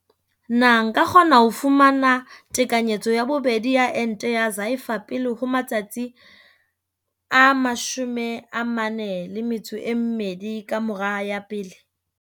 Potso- Na nka kgona ho fumana tekanyetso ya bobedi ya ente ya Pfizer pele ho matsatsi a 42 ka mora ya pele?